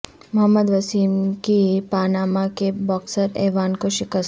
محمد وسیم کی پاناما کے boxer Ivan کو شکست